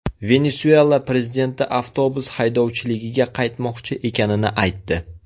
Venesuela prezidenti avtobus haydovchiligiga qaytmoqchi ekanini aytdi.